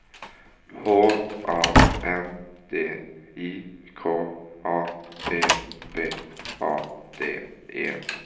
H A N D I K A P P A D E